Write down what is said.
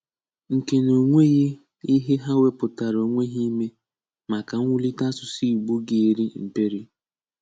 Nke na ọ̀ nweghị ihe ha wepụ̀tara onwe ha ime maka m̀wụ̀lite áṣụ̀sụ̀ Ìgbò ga-eri mperi.